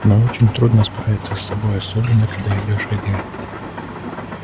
но очень трудно справиться с собой особенно когда идёшь один